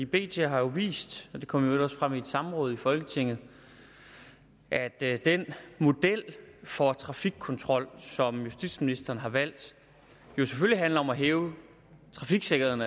bt har jo vist det kom i øvrigt også frem i et samråd i folketinget at at den model for trafikkontrol som justitsministeren har valgt jo selvfølgelig handler om at hæve trafiksikkerheden